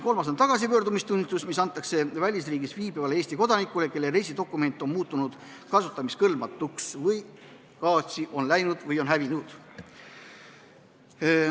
Kolmandaks on tagasipöördumistunnistus, mis antakse välisriigis viibivale Eesti kodanikule, kelle reisidokument on muutunud kasutamiskõlbmatuks, kaotsi läinud või hävinud.